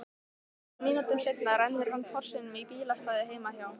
Nokkrum mínútum seinna rennir hann Porsinum í bílastæðið heima hjá